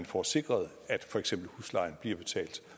få sikret at for eksempel huslejen bliver betalt